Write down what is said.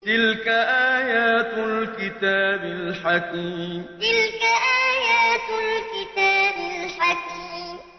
تِلْكَ آيَاتُ الْكِتَابِ الْحَكِيمِ تِلْكَ آيَاتُ الْكِتَابِ الْحَكِيمِ